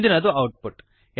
ಮುಂದಿನದು ಔಟ್ಪುಟ್